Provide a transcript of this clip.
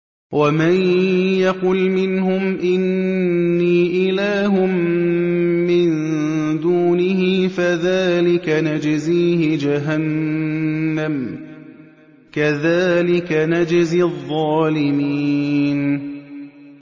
۞ وَمَن يَقُلْ مِنْهُمْ إِنِّي إِلَٰهٌ مِّن دُونِهِ فَذَٰلِكَ نَجْزِيهِ جَهَنَّمَ ۚ كَذَٰلِكَ نَجْزِي الظَّالِمِينَ